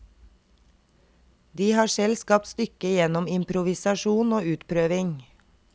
De har selv skapt stykket gjennom improvisasjon og utprøving.